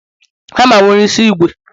hama nwere isi ígwè